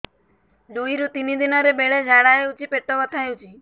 ଦୁଇରୁ ତିନି ଦିନରେ ବେଳେ ଝାଡ଼ା ହେଉଛି ପେଟ ବଥା ହେଉଛି